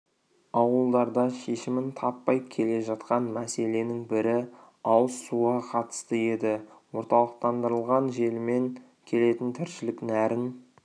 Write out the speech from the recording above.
ауылдарда шешімін таппай келе жатқан мәселенің бірі ауыз суға қатысты еді орталықтандырылған желімен келетін тіршілік нәрін